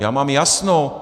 Já mám jasno.